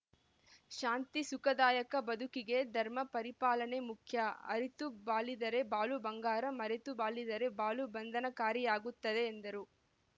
ಶಾಂತಿ ಸುಖದಾಯಕ ಬದುಕಿಗೆ ಧರ್ಮ ಪರಿಪಾಲನೆ ಮುಖ್ಯ ಅರಿತು ಬಾಳಿದರೆ ಬಾಳು ಬಂಗಾರ ಮರೆತು ಬಾಳಿದರೆ ಬಾಳು ಬಂಧನಕಾರಿಯಾಗುತ್ತದೆ ಎಂದರು